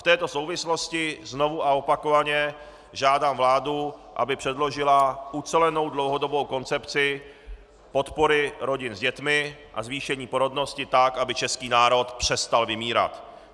V této souvislosti znovu a opakovaně žádám vládu, aby předložila ucelenou dlouhodobou koncepci podpory rodin s dětmi a zvýšení porodnosti tak, aby český národ přestal vymírat.